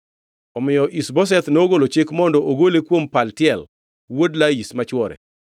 Omiyo Ish-Boseth nogolo chik mondo ogole kuom Paltiel wuod Laish machuore.